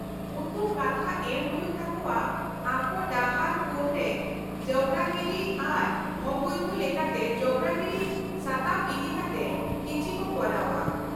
-ᱩᱱᱠᱩ ᱠᱟᱛᱷᱟ ᱮᱢ ᱦᱩᱭᱩᱜ ᱛᱟᱠᱚᱣᱟ ᱟᱠᱚ ᱰᱟᱦᱟᱨ ᱠᱳᱱᱨᱮ ᱡᱚᱵᱨᱟ ᱜᱤᱰᱤ ᱟᱨ ᱚᱵᱳᱭᱫᱷᱚ ᱞᱮᱠᱟᱛᱮ ᱡᱚᱵᱨᱟ ᱜᱤᱰᱤ ᱥᱟᱛᱟᱢ ᱤᱫᱤᱠᱟᱛᱮ ᱠᱤᱪᱷᱤ ᱠᱚ ᱠᱚᱨᱟᱣᱼᱟ ᱾